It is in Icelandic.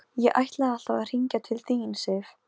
Það er ég sem á að snerta þig.